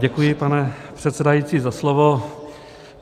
Děkuji, pane předsedající, za slovo.